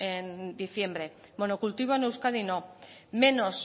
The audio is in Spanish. en diciembre monocultivo en euskadi no menos